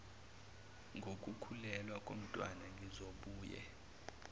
ngokukhulelwa komntwana ngizobuye